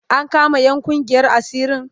An kama 'yan ƙungiyar asirin?